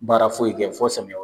Baara foyi kɛ fɔ samiyɛ